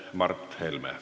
Mart Helme.